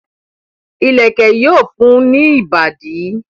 ìlẹ̀kẹ̀ yóò fun ní ìbàdí.